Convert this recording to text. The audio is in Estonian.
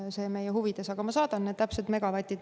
Aga kui tohib, ma saadan need täpsed megavatid.